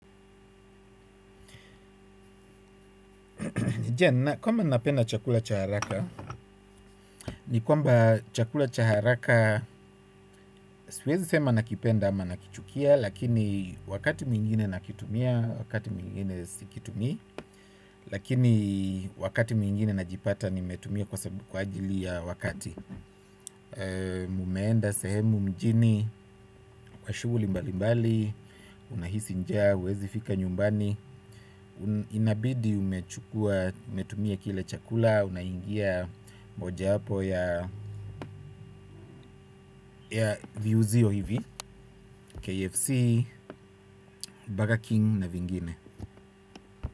Nijia, kwamba napenda chakula cha haraka, ni kwamba chakula cha haraka, siwezi sema nakipenda ama nakichukia, lakini wakati mwingine nakitumia, wakati mwingine sikitumii, lakini wakati mwingine najipata nimetumia kwa sababu kwa ajili ya wakati. Nimeenda sehemu mjini kwa shughuli mbali mbali. Unahisi njaa huwezi fika nyumbani. Inabidi umechukua umetumia kile chakula. Unaingia mojawapo ya viuzio hivi KFC, Burger King Na vingine.